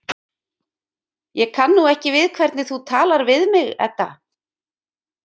Ég kann nú ekki við hvernig þú talar við mig, Edda.